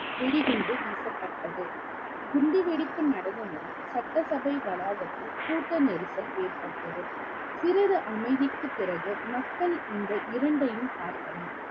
வெடிகுண்டு வீசப்பட்டது குண்டுவெடிப்பு நடந்தவுடன் சட்டசபை வளாகத்தில் கூட்ட நெரிசல் ஏற்பட்டது சிறிது அமைதிக்குப் பிறகு மக்கள் இந்த இரண்டையும் பார்த்தனர்